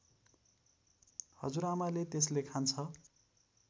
हजुरआमाले त्यसले खान्छ